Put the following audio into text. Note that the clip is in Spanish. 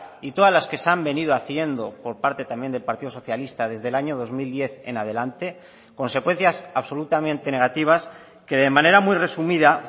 y todas las que se han venido haciendo por parte también del partido socialista desde el año dos mil diez en adelante consecuencias absolutamente negativas que de manera muy resumida